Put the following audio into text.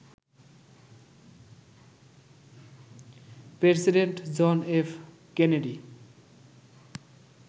president John F Kennedy